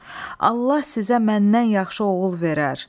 Allah sizə məndən yaxşı oğul verər.